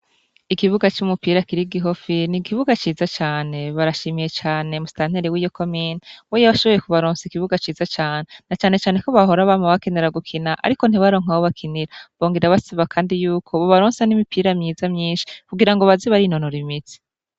Ikibuga c'umupira kiri gihofi ni igibuga ciza cane barashimiye cane musitanteri w'iyokomina weyebashoboye ku baronse igibuga ciza cane na canecaneko bahora abama bakenera gukina, ariko ntibaronka abo bakinira bongera baseba, kandi yuko bobaronsa n'imipira myiza myinshi kugira ngo bazibari inonoro imizi.